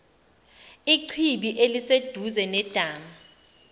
ichibi eliseduze nedamu